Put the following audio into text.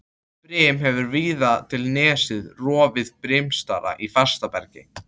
Brim hefur víða til nesja rofið brimstalla í fast berg.